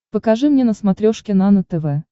покажи мне на смотрешке нано тв